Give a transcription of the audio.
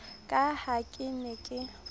ka ha ke ne ke